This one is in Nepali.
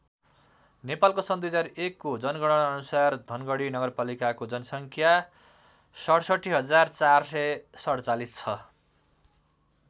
नेपालको सन् २००१ को जनगणना अनुसार धनगढी नगरपालिकाको जनसङ्ख्या ६७४४७ छ।